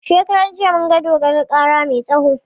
Shekaran jiya mun ga dodon kara mai tsawo